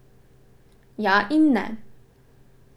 Ja in ne.